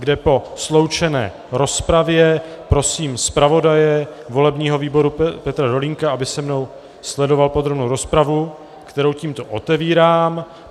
kde po sloučené rozpravě prosím zpravodaje volebního výboru Petra Dolínka, aby se mnou sledoval podrobnou rozpravu, kterou tímto otevírám.